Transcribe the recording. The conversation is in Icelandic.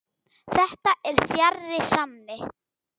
Þetta er fjarri sanni.